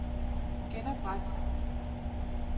genopret